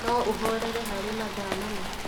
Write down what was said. no ũhorere harĩ mathaa mana